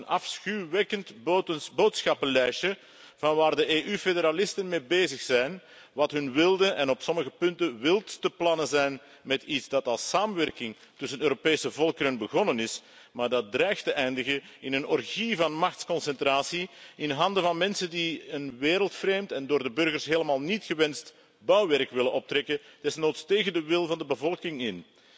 Dit verslag is een afschuwwekkend boodschappenlijstje van waar de EU-federalisten mee bezig zijn, wat hun wilde en op sommige punten wildste plannen zijn met iets dat als samenwerking tussen de Europese volkeren begonnen is, maar dat dreigt te eindigen in een orgie van machtsconcentratie in handen van mensen die een wereldvreemd en door de burgers helemaal niet gewenst bouwwerk willen optrekken, desnoods tegen de wil van de bevolking in.